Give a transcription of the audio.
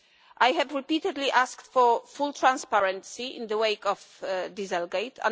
I have repeatedly asked for full transparency in the wake of dieselgate'.